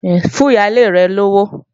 Fún ìyálé rẹ̀ lówó!